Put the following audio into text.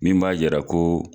Min b'a yira ko